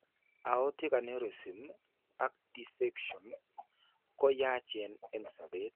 Aortic aneurysm ak dissection ko yacheen eng' sobet.